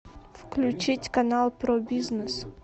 включить канал про бизнес